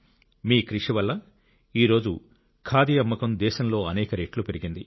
మీ కృషి వల్ల ఈ రోజు ఖాదీ అమ్మకం దేశంలో అనేక రెట్లు పెరిగింది